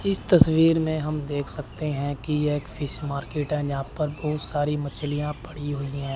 इस तस्वीर में हम देख सकते हैं कि यह एक फिश मार्केट है यहां पर बहुत सारी मछलियां पड़ी हुई है।